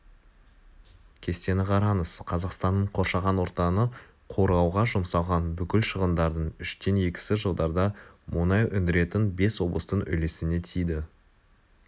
кестені қараңыз қазақстанның қоршаған ортаны қорғауға жұмсалған бүкіл шығындардың үштен екісі жылдарда мұнай өндіретін бес облыстың үлесіне тиді